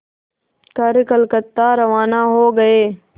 कर कलकत्ता रवाना हो गए